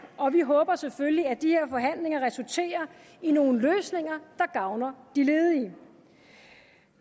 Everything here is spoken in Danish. og vi håber selvfølgelig at de her forhandlinger resulterer i nogle løsninger der gavner de ledige